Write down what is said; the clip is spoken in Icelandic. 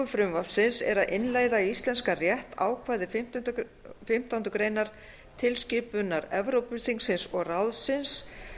frumvarpsins er að innleiða í íslenskan rétt ákvæði fimmtándu grein tilskipunar evrópuþingsins og ráðsins